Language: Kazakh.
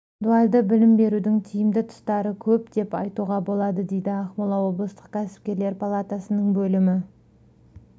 дуальді білім берудің тиімді тұстары көп деп айтуға болады дейді ақмола облыстық кәсіпкерлер палатасының бөлім